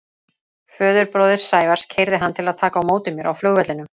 Föðurbróðir Sævars keyrði hann til að taka á móti mér á flugvellinum.